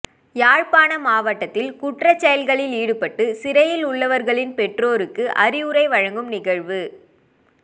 யாழ்ப்பாண மாவட்டத்தில் குற்றச் செயல்களில் ஈடுபட்டு சிறையில் உள்ளவர்களின் பெற்றோருக்கு அறிவுரை வழங்கும் நிகழ்வு